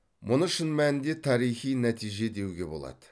мұны шын мәнінде тарихи нәтиже деуге болады